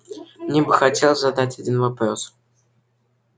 мне бы хотелось задать один вопрос